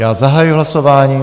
Já zahajuji hlasování.